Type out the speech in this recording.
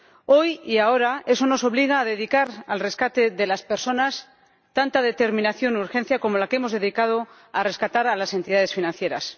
Hoy y ahora, eso nos obliga a dedicar al rescate de las personas tanta determinación y urgencia como la que hemos dedicado a rescatar entidades financieras.